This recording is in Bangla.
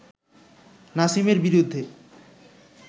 নাসিমের বিরুদ্ধে